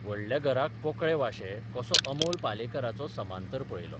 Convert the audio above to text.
व्हडल्या घराक पोकळे वांशे कसो अमोल पालेकराचो समांतर पळयलो.